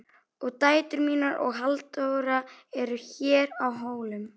Og dætur mínar og Halldóra eru hér á Hólum.